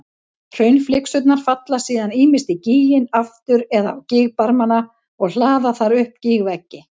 Hraunflygsurnar falla síðan ýmist í gíginn aftur eða á gígbarmana og hlaða þar upp gígveggi.